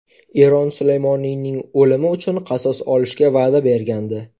Eron Sulaymoniyning o‘limi uchun qasos olishga va’da bergandi.